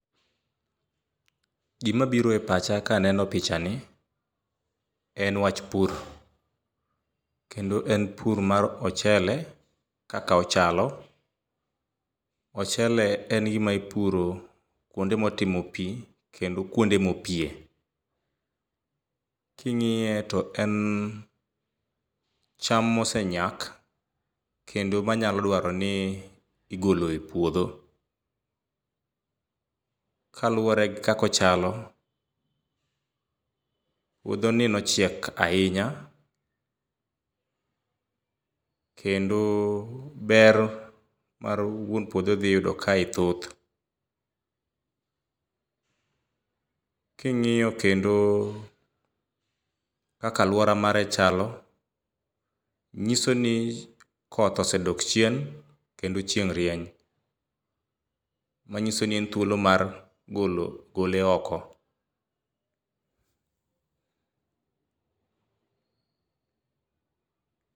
Gima biro e pacha ka aneno pichani en wach pur, kendo en mar ochele kaka ochalo. Ochele en gima ipuro kuonde motimo pi kendo kuonde mopie. King'iye to en cham mosenyak kendo manyalo dwaro ni igolo e puodho, kaluwore gi kaka ochalo, puodhoni nochiek ahinya kendo ber ma wuon puodho dhi yudo kae thoth. King'iyo kendo kaka alwora mare chalo, nyiso ni koth osedok chien kendo chieng' rieny manyiso ni en thuolo mar golo gole oko.